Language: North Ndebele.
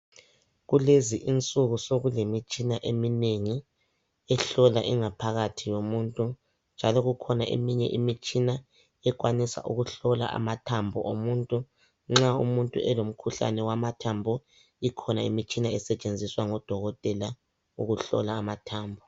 Kulezinsuku sekulemitshina eminengi ehlola ingaphakathi yomuntu njalo kukhona eminye imitshina ekwanisa ukuhlola amathambo omuntu nxa umuntu elomkhuhlane wamathambo, ikhona imitshina esetshenziswa ngodokotela ukuhlola amathambo